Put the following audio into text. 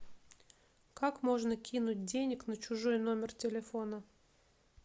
как можно кинуть денег на чужой номер телефона